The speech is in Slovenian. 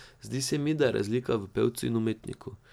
Zdi se mi, da je razlika v pevcu in umetniku.